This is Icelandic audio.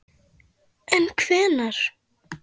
En kvenna?